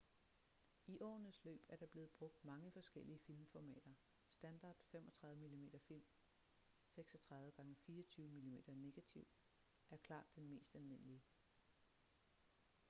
i årenes løb er der blevet brugt mange forskellige filmformater. standard 35 mm-film 36 x 24 mm negativ er klart den mest almindelige